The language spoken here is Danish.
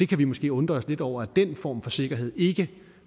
kan måske undre os lidt over at den form for sikkerhed ikke